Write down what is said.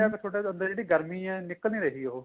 ਫੇਰ ਤੁਹਾਡਾ ਜਿਹੜੀ ਗਰਮੀ ਏ ਨਿਕਲ ਨਹੀਂ ਰਹੀ ਉਹ